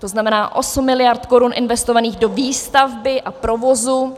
To znamená osm miliard korun investovaných do výstavby a provozu.